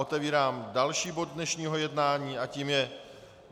Otevírám další bod dnešního jednání a tím je